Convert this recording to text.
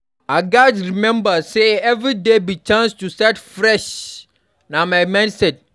I gats remember say every day be chance to start fresh; na my mindset.